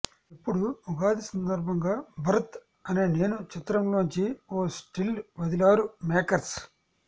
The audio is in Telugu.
ఇప్పుడు ఉగాది సందర్భంగా భరత్ అనే నేను చిత్రంలోంచి ఓ స్టిల్ వదిలారు మేకర్స్